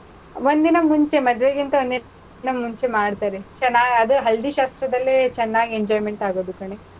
ಒಂದ್ ದಿನ ಮುಂಚೆ, ಮದ್ವೆಗಿಂತ ಒಂದ್ ದಿನ ಮುಂಚೆ ಮಾಡ್ತಾರೆ. ಚೆನಾಗ್ ಅದು ಹಳ್ದಿ ಶಾಸ್ತ್ರದಲ್ಲೇ ಚೆನಾಗ್ enjoyment ಆಗೊದು ಕಣೇ,